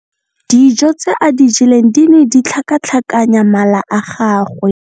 Dijô tse a di jeleng di ne di tlhakatlhakanya mala a gagwe.